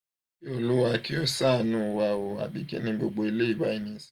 oluwa ki o saanu wa o abi kini gbogbo eleyi bayi nisinyi